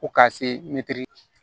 Ko ka se